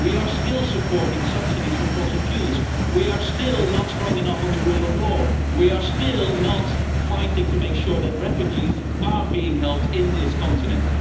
We are still supporting subsidies for fossil fuels, we are still not strong enough on the rule of law, and we are still not fighting to make sure that refugees are being helped on this continent.